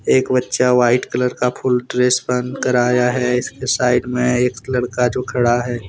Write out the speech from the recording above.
एक बच्चा white colour का फुल ड्रेस पहन कर आया है इसके साइड में एक लड़का जो खड़ा है।